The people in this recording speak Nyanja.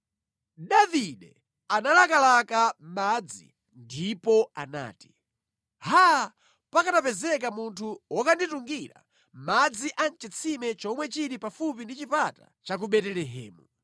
Davide analakalaka madzi ndipo anati, “Haa, pakanapezeka munthu wokanditungira madzi a mʼchitsime chomwe chili pafupi ndi chipata cha ku Betelehemu!”